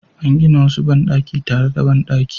An gina wasu bandaki tare da bandaki